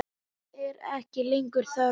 Mín er ekki lengur þörf.